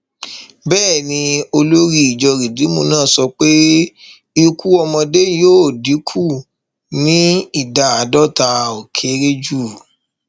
bẹẹ ni olórí ìjọ rìdíìmù náà sọ pé ikú ọmọdé yóò dínkù ní ìdá àdọta ó kéré jù